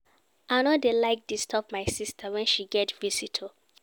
I no dey like disturb my sista wen she get visitor.